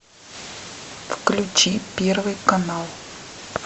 включи первый канал